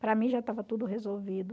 Para mim já estava tudo resolvido.